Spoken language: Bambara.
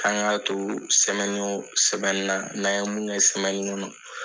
An k'a to sɛmɛni o sɛmɛni na n'an ye mun kɛ sɛmɛnin na